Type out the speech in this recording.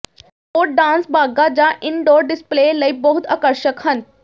ਉਹ ਡਾਂਸ ਬਾਗ਼ਾਂ ਜਾਂ ਇਨਡੋਰ ਡਿਸਪਲੇ ਲਈ ਬਹੁਤ ਆਕਰਸ਼ਕ ਹਨ